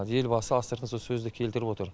елбасы астыртын сол сөзді келтіріп отыр